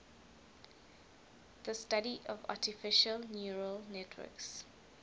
the study of artificial neural networks